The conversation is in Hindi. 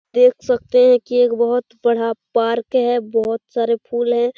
देख सकते है की एक बहुत बड़ा पार्क है बहुत सारे फूल है।